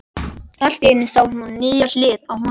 Allt í einu sá hún nýja hlið á honum.